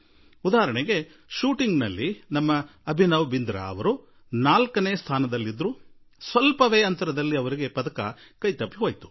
ಈಗ ನೋಡಿ ಶೂಟಿಂಗ್ ನಲ್ಲಿ ನಮ್ಮ ಅಭಿನವ್ ಬಿಂದ್ರಾ ಜೀ ನಾಲ್ಕನೇ ಸ್ಥಾನ ತಲುಪಿದರು ಹಾಗೂ ಅತಿ ಕಡಿಮೆ ಅಂತರದಲ್ಲಿ ಪದಕ ವಂಚಿತರಾದರು